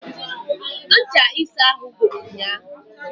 Ncha ịsa ahụ gwụrụ ụnyahụ